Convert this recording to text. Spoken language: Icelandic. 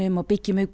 og byggjum upp